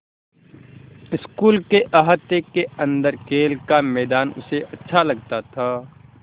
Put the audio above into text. school के अहाते के अन्दर खेल का मैदान उसे अच्छा लगता था